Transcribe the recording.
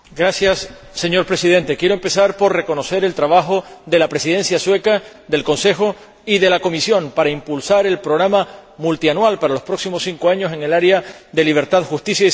Señor Presidente, quiero empezar por reconocer el trabajo de la Presidencia sueca del Consejo y de la Comisión para impulsar el programa multianual de los próximos cinco años en el área de libertad, justicia y seguridad.